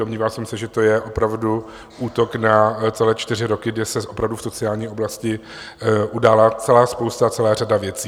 Domníval jsem se, že to je opravdu útok na celé čtyři roky, kdy se opravdu v sociální oblasti udála celá spousta, celá řada věcí.